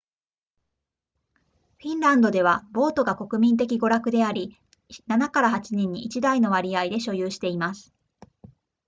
フィンランドではボートが国民的娯楽であり 7～8 人に1台の割合で所有しています